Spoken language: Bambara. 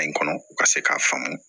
kɔnɔ u ka se k'a faamu